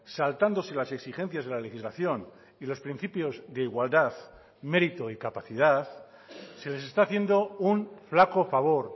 saltándose las exigencias de la legislación y los principios de igualdad mérito y capacidad se les está haciendo un flaco favor